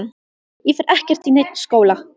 Ég fer ekkert í neinn skóla!